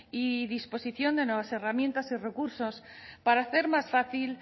y disposición de nuevas herramientas de recursos para hacer más fácil